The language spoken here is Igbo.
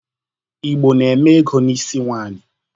Igbo na-eme ego n'isi nwanyị.